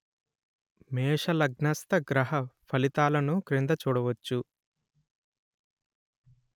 మేషలగ్నస్థ గ్రహ ఫలితాలను క్రింద చూడవచ్చు